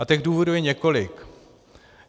A těch důvodů je několik.